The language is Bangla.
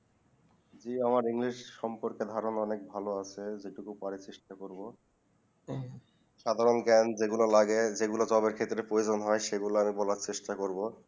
যে আমার english সম্পর্ক ধারণা অনেক ভালো আছে যেটুকু পারি চেষ্টা করবো সাধারণ জ্ঞান যে গুলো লাগে যে গুলো job প্রয়োজন হয় সেই গুলু আমি বলা চেষ্টা করবো